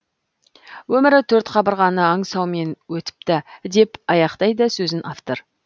өмірі төрт қабырғаны аңсаумен өтіпті деп аяқтайды сөзін автор